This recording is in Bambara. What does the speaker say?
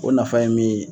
O nafa ye min ye